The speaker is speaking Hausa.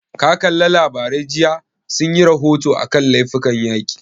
Ka kalla labarai jiya, sun yi rahoto a kan laifukan yaƙi?